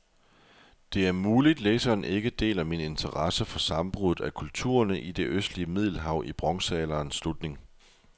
Det er muligt, læseren ikke deler min interesse for sammenbruddet af kulturerne i det østlige middelhav i bronzealderens slutning.